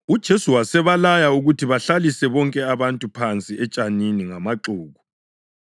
UJesu wasebalaya ukuthi bahlalise bonke abantu phansi etshanini ngamaxuku.